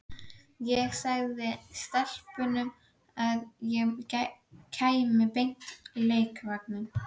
Ég sagði stelpunum að ég kæmi beint á leikvanginn.